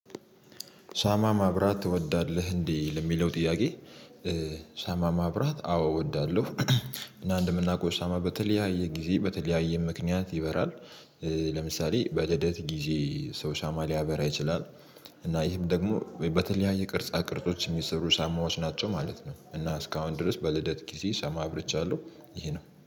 ሻማ ማብራት ትወዳለህ እንዴ ለሚለው ጥያቄ? ሳማ ማብራት አዎ እወዳለሁ እና እንደምናውቀው ሻማ በተለያየ ጊዜ በተለያየ ምክንያት ይበራል። ለምሳሌ በልደት ጊዜ ሰው ሻማ ሊያበራ ይችላል። እና ይህም ደግሞ በተለያየ ቅርጻ ቅርጾች የሚሰሩ ሻማዎች ናቸው ማለት ነው። እና እስካሁን ድረስ በልደት ጊዜ ሻማ አብርቻለሁ ይሄ ነው